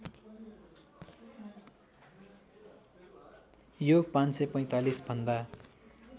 यो ५४५ भन्दा